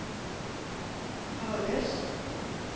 hördes